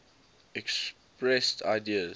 expressed ideas